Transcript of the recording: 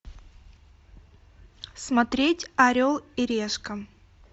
смотреть орел и решка